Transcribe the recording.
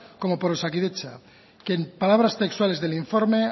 como por osakidetza que en palabras textuales del informe